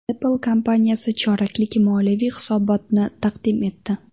Apple kompaniyasi choraklik moliyaviy hisobotni taqdim etdi.